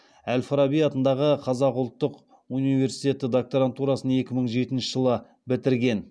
әл фараби атындағы қазақ ұлттық университеті докторантурасын екі мың жетінші жылы бітірген